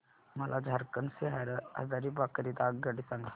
मला झारखंड से हजारीबाग करीता आगगाडी सांगा